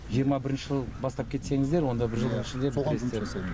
жиырма бірінші жылы бастап кетсеңіздер онда бір жылдың ішінде бітіресіздер